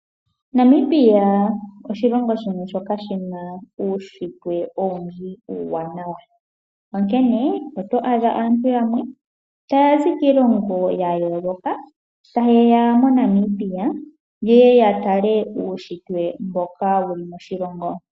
Namibia oshilongo shimwe shoka shi na uushitwe owundji uuwanawa, onkene oto adha aantu yamwe taya zi kiilongo ya yooloka taye ya moNamibia yeye ya tale uunshitwe mboka wu li moshilongo.